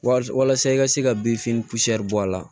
Wal walasa i ka se ka bin fini bɔ a la